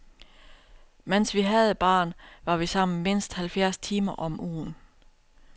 Mens vi havde baren, var vi sammen mindst halvfjerds timer om ugen.